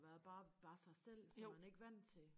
Været bare bare sig selv så man ikke vant til